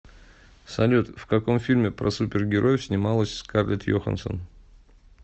салют в каком фильме про супер героев снималась скарлетт йоханссон